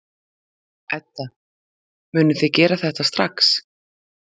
Edda: Munið þið gera það strax?